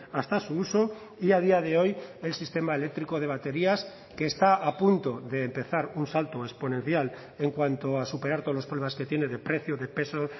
hasta su uso y a día de hoy el sistema eléctrico de baterías que está a punto de empezar un salto exponencial en cuanto a superar todos los problemas que tiene de precio de peso